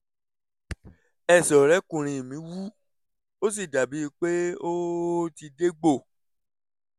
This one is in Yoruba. ẹsẹ̀ ọ̀rẹ́kùnrin mi wú ó sì dàbí ẹni pé ó ti dégbò